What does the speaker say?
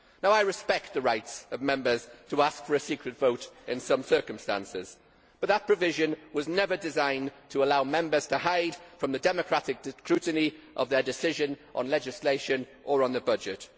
I respect the rights of Members to ask for a secret vote in some circumstances, but that provision was never designed to allow Members to hide from the democratic scrutiny of their decisions on legislation or on the budget.